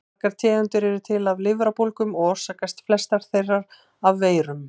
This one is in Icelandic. Margar tegundir eru til af lifrarbólgum og orsakast flestar þeirra af veirum.